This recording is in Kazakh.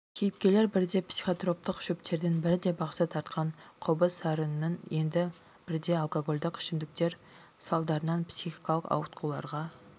кейіпкерлер бірде психотроптық шөптердің бірде бақсы тартқан қобыз сарынының енді бірде алкагольдік ішімдіктер салдарынан психикалық ауытқуларға